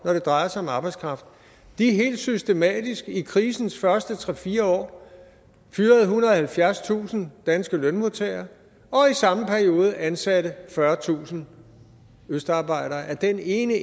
når det drejer sig om arbejdskraft helt systematisk i krisens første tre fire år fyrede ethundrede og halvfjerdstusind danske lønmodtagere og i samme periode ansatte fyrretusind østarbejdere af den ene